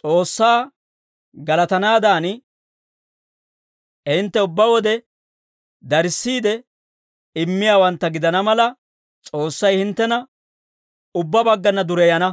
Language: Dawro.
S'oossaa galatanaadan, hintte ubbaa wode darissiide immiyaawantta gidana mala, S'oossay hinttena ubbaa baggana dureyana.